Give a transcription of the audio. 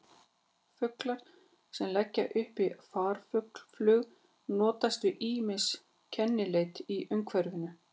Fuglar sem leggja upp í farflug notast við ýmis kennileiti í umhverfinu.